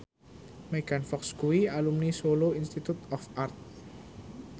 Megan Fox kuwi alumni Solo Institute of Art